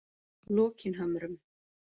Lokinhömrum